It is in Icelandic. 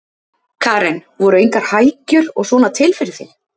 Karen: Voru engar hækjur og svona til fyrir þig?